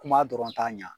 Kuma dɔrɔn t'a ɲɛ